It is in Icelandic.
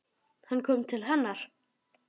Hann kom til hennar.